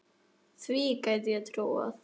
Því gæti ég trúað